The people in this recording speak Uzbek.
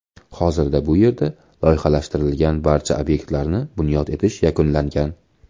Hozirda bu yerda loyihalashtirilgan barcha obyektlarni bunyod etish yakunlangan.